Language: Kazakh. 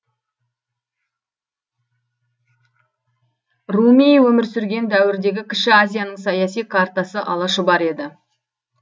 руми өмір сүрген дәуірдегі кіші азияның саяси картасы алашұбар еді